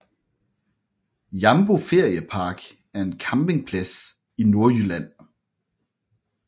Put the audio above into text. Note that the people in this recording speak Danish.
Jambo Feriepark er en campingplads i Nordjylland